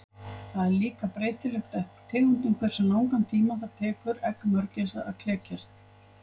Það er líka breytilegt eftir tegundum hversu langan tíma það tekur egg mörgæsa að klekjast.